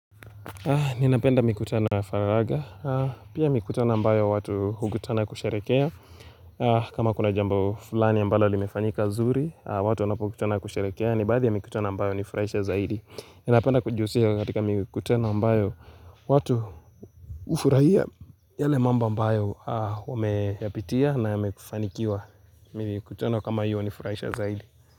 Ninapenda mikutano ya faragha, pia mikutano ambayo watu hukutana kusherekea kama kuna jambo fulani ya ambalo limefanyika zuri, watu wanapokutana kusherekea Nibaadhi ya mikutano ambayo hunifurahisha zaidi Ninapenda kujiusisha katika mikutano ambayo watu ufuraia yale mambo ambayo wameyapitia na yamekufanikiwa mikutano kama hiyo nifurahisha zaidi.